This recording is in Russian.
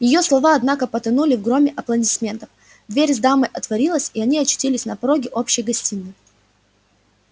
её слова однако потонули в громе аплодисментов дверь с дамой отворилась и они очутились на пороге общей гостиной